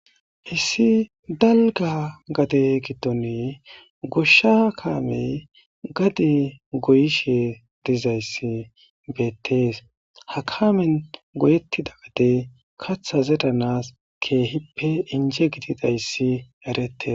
Issi dalga gade giddone goshsha kaamey gadi goyishe dizayssi beettees ha kaamen goyettida gade katha zedanas keehippe inje gidida hyssi erettes.